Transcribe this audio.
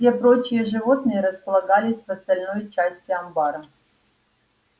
все прочие животные располагались в остальной части амбара